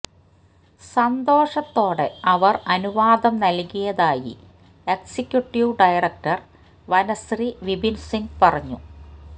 സന്തോഷത്തോടെ അവർ അനുവാദം നൽകിയതായി എക്സിക്യുട്ടീവ് ഡയറക്ടർ വനശ്രീ വിപിൻസിങ് പറഞ്ഞു